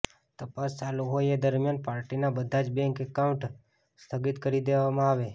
તપાસ ચાલુ હોય એ દરમિયાન પાર્ટીનાં બધાં જ બેન્ક એકાઉન્ટ સ્થગિત કરી દેવામાં આવે